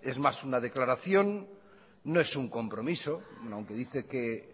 es más una declaración no es un compromiso aunque dice que